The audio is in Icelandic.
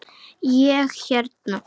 Ég hérna.